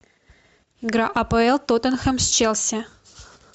игра апл тоттенхэм с челси